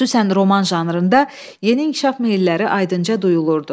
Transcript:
Xüsusən roman janrında yeni inkişaf meyilləri aydınca duyuldu.